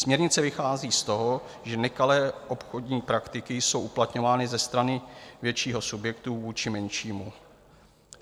Směrnice vychází z toho, že nekalé obchodní praktiky jsou uplatňovány ze strany většího subjektu vůči menšímu.